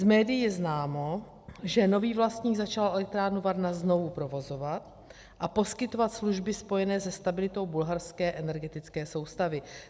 Z médií je známo, že nový vlastník začal elektrárnu Varna znovu provozovat a poskytovat služby spojené se stabilitou bulharské energetické soustavy.